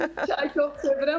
Çay çox sevirəm.